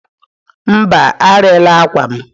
Mba, arịla akwa m.